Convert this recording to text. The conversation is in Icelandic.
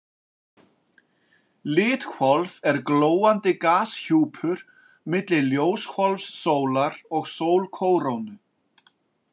Lithvolf er glóandi gashjúpur milli ljóshvolfs sólar og sólkórónu.